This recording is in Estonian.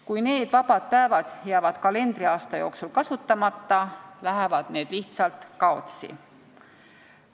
Kui need vabad päevad jäävad kalendriaasta jooksul kasutamata, lähevad need lihtsalt kaotsi.